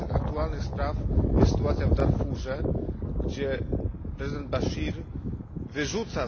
Jedną z tych aktualnych spraw jest sytuacja w Darfurze, skąd prezydent Baszir wyrzuca